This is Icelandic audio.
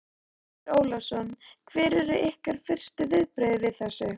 Andri Ólafsson: Hver eru ykkar fyrstu viðbrögð við þessu?